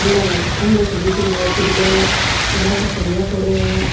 खम्भा सो दिख रही है पिलर लोह का सरिया पड़ा है।